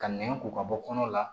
Ka nɛn ko ka bɔ kɔnɔ la